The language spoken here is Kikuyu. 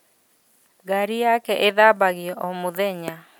Ngari yake ĩthambagio o mũthenya ?